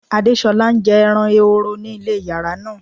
Adéṣọla n jẹ́ èrán èhòró ní ilẹ̀ yàrá náà.